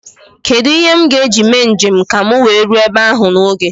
Kedụ ihe m ga-eji mee njem ka m wee ruo ebe ahụ n'oge?